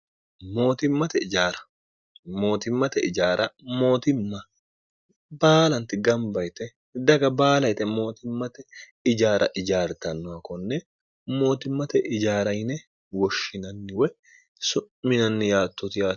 mootimmate ijaara mootimma baalanti gamba yite daga baala yite mootimmate ijaara ijaartannoh konne mootimmate ijaara yine woshshinanniwoy su'minanni yaattooti o